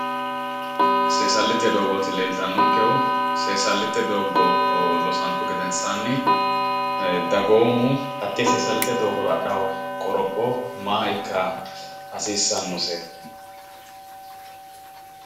Seessalite doogoti leeltannonkehu, seessalite doogo loosantu gedensaanni dagoomu hattee seessalute dogoora adhawo qoropho maa ikka hasiissannose?